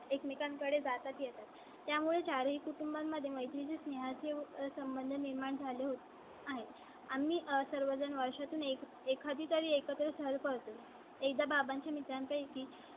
एकमेकां कडे जातात येतात. त्यामुळे चार ही कुटुंबां मध्ये मैत्री चे स्नेहा चे संबंध निर्माण झाले होत आहे. आम्ही सर्वजण वर्षा तून एक एखादी तरी एका चाळी तून एकदा बाबांचे मित्र आहे की